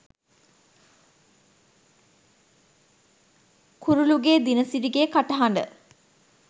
කුරුලුගේ දිනසිරිගේ කටහඬ